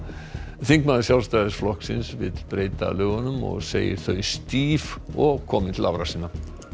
þingmaður Sjálfstæðisflokksins vill breyta lögunum og segir þau stíf og komin til ára sinna